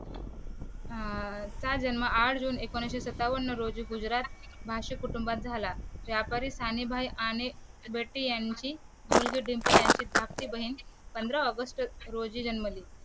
अं त्या जन्म आठ जून एकोणीशे सत्तावन्न रोजी गुजरात भाष्य कुटुंबात झाला त्या आणि बेट्टी यांची मुलगी डिंपल यांची धाकटी बहीण पंधरा ऑगस्ट रोजी जन्मली